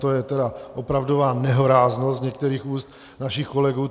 To je teda opravdová nehoráznost z některých úst našich kolegů!